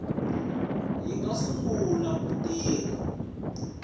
yi nga sungula ku tirha